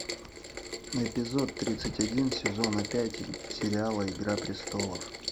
эпизод тридцать один сезона пять сериала игра престолов